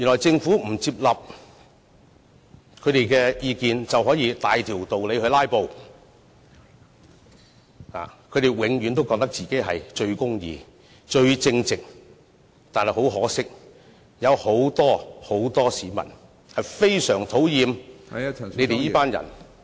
政府如果不接納他們的意見，他們就可以大條道理"拉布"，他們永遠都覺得自己最公義、最正直，但很可惜，有很多市民非常討厭他們這群人......